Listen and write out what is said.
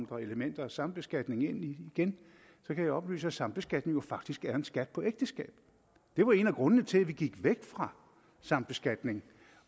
kom elementer af sambeskatning ind kan jeg oplyse at sambeskatning jo faktisk er en skat på ægteskab det var en af grundene til at vi gik væk fra sambeskatning